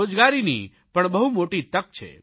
રોજગારની પણ બહુ મોટી તક છે